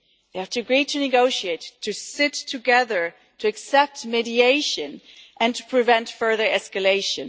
They have to agree to negotiate, to sit together, to accept mediation and to prevent further escalation.